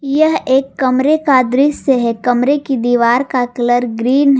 यह एक कमरे का दृश्य है कमरे की दीवार का कलर ग्रीन है।